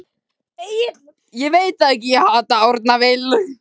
Egill Arnar, stuðningsmaður Stjörnunnar Hvernig gat Árni Vill fengið að klára þennan leik?